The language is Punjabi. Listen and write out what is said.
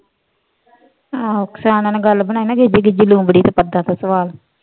ਆਹੋ ਸਿਆਣਿਆਂ ਨੇ ਗੱਲ ਬਣਾਈ ਨਾ ਵੀ ਲੂੰਬੜੀ ਤੇ ਸਵਾਲ